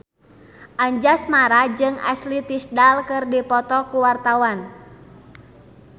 Anjasmara jeung Ashley Tisdale keur dipoto ku wartawan